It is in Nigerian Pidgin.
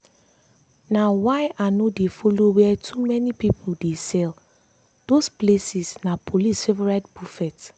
na why i no dey follow where too many people dey sell those places na police favorite buffet.